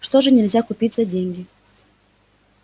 что же нельзя купить за деньги